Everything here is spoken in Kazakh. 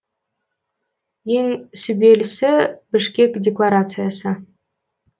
ең сүбелісі бішкек декларациясы